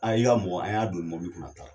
i ka mɔgɔ an y'a don nin mɔbili kɔnɔ. A taara.